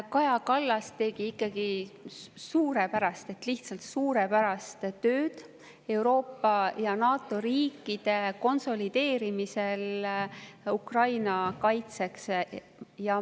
Kaja Kallas tegi ikkagi suurepärast, lihtsalt suurepärast tööd Euroopa ja NATO riikide konsolideerimisel Ukraina kaitseks.